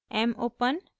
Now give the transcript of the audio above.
mopen